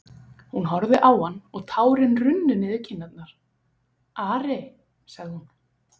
Hún horfði á hann og tárin runnu niður kinnarnar:-Ari, sagði hún.